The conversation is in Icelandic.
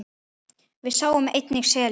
Við sáum einnig seli.